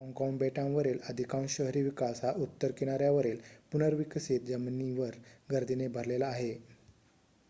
Hong Kong बेटावरील अधिकांश शहरी विकास हा उत्तर किनाऱ्यावरील पुनर्विकसीत जमिनीवर गर्दीने भरलेला आहे